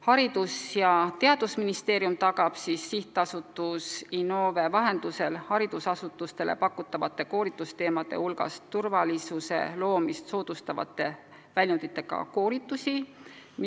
Haridus- ja Teadusministeerium tagab Sihtasutuse Innove vahendusel, et haridusasutustele pakutavate koolitusteemade hulgas on ka turvalisust soodustavate väljunditega koolitusi.